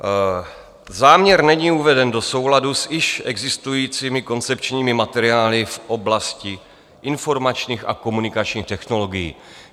Záměr není uveden do souladu s již existujícími koncepčními materiály v oblasti informačních a komunikačních technologií.